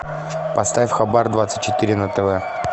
поставь хабар двадцать четыре на тв